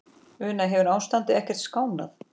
Una, hefur ástandið ekkert skánað?